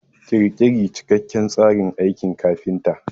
Ƙirƙiri cikakken tsarin aikin kafinta.